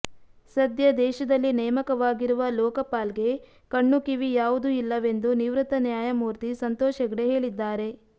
ಸದ್ಯ ದೇಶದಲ್ಲಿ ನೇಮಕವಾಗಿರುವ ಲೋಕಪಾಲ್ ಗೆ ಕಣ್ಣು ಕಿವಿ ಯಾವುದು ಇಲ್ಲವೆಂದು ನಿವೃತ್ತ ನ್ಯಾಯಮೂರ್ತಿ ಸಂತೋಷ್ ಹೆಗ್ಡೆ ಹೇಳಿದ್ದಾರೆ